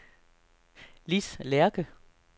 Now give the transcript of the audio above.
Lis Lerche